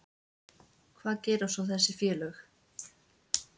Hvað gera svo þessi félög?